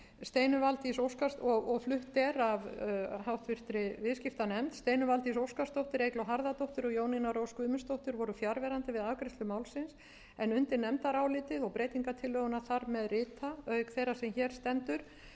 steinunn valdís óskarsdóttir eygló harðardóttir og jónína rós guðmundsdóttir voru fjarverandi við afgreiðslu málsins en undir nefndarálitið og breytingartillöguna þar með rita auk þeirrar sem hér stendur